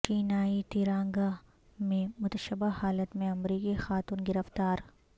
چینائی طیرانگاہ میں متشبہ حالت میں امریکی خاتون گرفتار